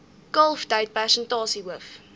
kalftyd persentasie hoof